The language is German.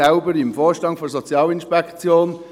Ich bin selbst im Vorstand der Sozialinspektion.